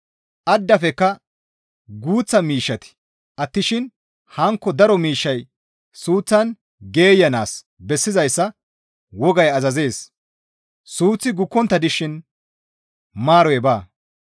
Addafekka guuththa miishshati attishin hankko daro miishshay suuththan geeyanaas bessizayssa wogay azazees; suuththi gukkontta dishin maaroy baa.